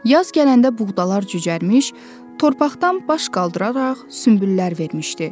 Yaz gələndə buğdalar cücərmiş, torpaqdan baş qaldıraraq sümbüllər vermişdi.